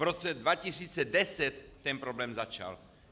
V roce 2010 ten problém začal!